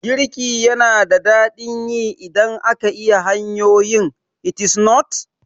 Girki yana da daɗin yi idan ka iya hanyoyin, is it not?